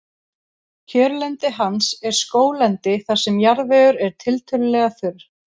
Kjörlendi hans er skóglendi þar sem jarðvegur er tiltölulega þurr.